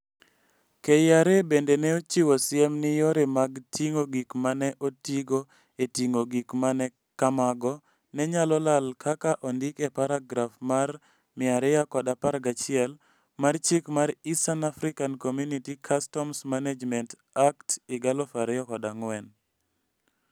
KRA bende ne ochiwo siem ni yore mag ting'o gik ma ne otigo e ting'o gik ma kamago ne nyalo lal kaka ondik e paragraf mar 211 mar Chik mar East African Community Customs Management Act 2004.